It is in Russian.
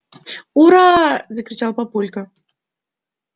ура закричал папулька